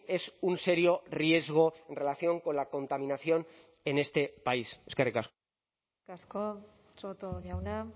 es un serio riesgo en relación con la contaminación en este país eskerrik asko eskerrik asko soto jauna